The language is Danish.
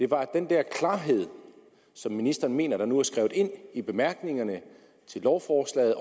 var at den der klarhed som ministeren mener nu er skrevet ind i bemærkningerne til lovforslaget